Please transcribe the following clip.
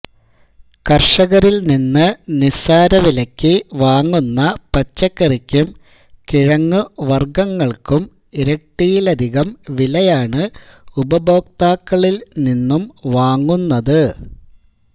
കര്ഷകരില് നിന്ന് നിസാരവിലക്കു വാങ്ങുന്ന പച്ചക്കറിക്കും കിഴങ്ങുവര്ഗ്ഗങ്ങള്ക്കും ഇരട്ടിയിലധികം വിലയാണ് ഉപഭോക്താക്കളില് നിന്നും വാങ്ങുന്നത്